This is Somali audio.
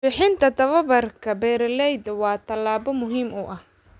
Bixinta tababarka beeralayda waa tallaabo muhiim ah.